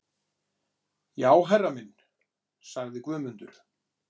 Já herra minn, sagði Guðmundur.